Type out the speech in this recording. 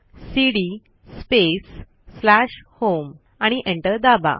CD space slash home आणि enter दाबा